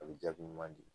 A bɛ jaabi ɲuman di